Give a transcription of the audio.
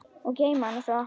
Og geyma hana svo.